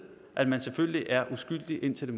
at man selvfølgelig er uskyldig indtil